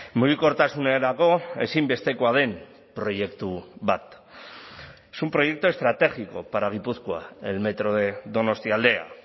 mugikortasunerako ezinbestekoa den proiektu bat es un proyecto estratégico para gipuzkoa el metro de donostialdea